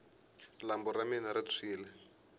lambu ra mina ri tshwini